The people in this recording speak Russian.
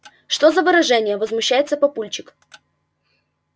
что за выражения возмущается папульчик